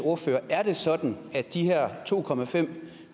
ordførere er det sådan at de her to